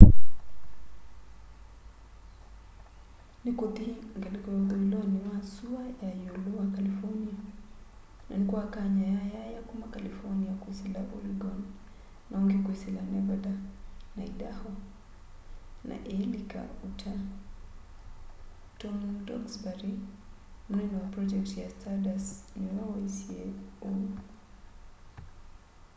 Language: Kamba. nikuthi ngaliko ya uthuiloni wa sua ya iulu wa california na nikwakany'a yayaya kuma california kwisila oregon na ungi kwisila nevada na idaho na iilika utah tom duxbury munene wa pronjekiti ya stardust niwe waisye uu